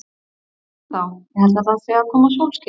Svei mér þá, ég held að það sé að koma sólskin.